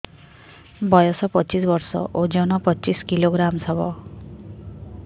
ବୟସ ପଚିଶ ବର୍ଷ ଓଜନ ପଚିଶ କିଲୋଗ୍ରାମସ ହବ